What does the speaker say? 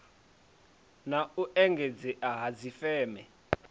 na u engedzea ha dzifeme